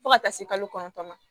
Fo ka taa se kalo kɔnɔntɔn ma